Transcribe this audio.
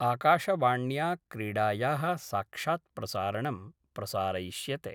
आकाशवाण्या क्रीडाया: साक्षात्प्रसारणं प्रसारयिष्यते।